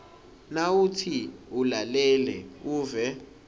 nawutsi ulalele uve